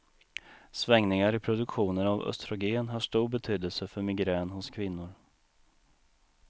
Svängningar i produktionen av östrogen har stor betydelse för migrän hos kvinnor.